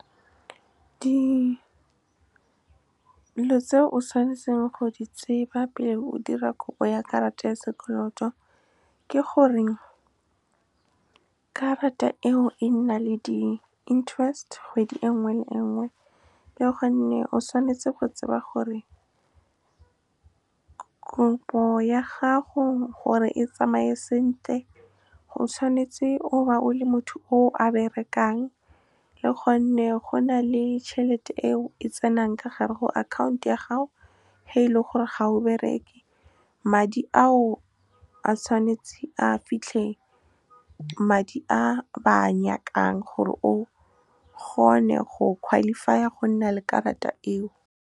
Dilo tse o tshwanetse go di tseba pele o dira kopo ya karata ya sekoloto ke gore karata eo e nna le di-interest kgwedi engwe le engwe, le gonne o tshwanetse go tseba gore kopo ya gago gore e tsamaye sentle go tshwanetse o ba o le motho o a berekang le gonne go na le tšhelete eo e tsenang ka gare go account ya gago ge e le gore ga o bereke madi a o a tshwanetse a fitlhele madi a ba a nyakang gore o kgone go qualify-a go nna le karata eo. Dilo tse o tshwanetse go di tseba pele o dira kopo ya karata ya sekoloto ke gore karata eo e nna le di-interest kgwedi engwe le engwe, le gonne o tshwanetse go tseba gore kopo ya gago gore e tsamaye sentle go tshwanetse o ba o le motho o a berekang le gonne go na le tšhelete eo e tsenang ka gare go account ya gago ge e le gore ga o bereke madi a o a tshwanetse a fitlhele madi a ba a nyakang gore o kgone go qualify-a go nna le karata eo.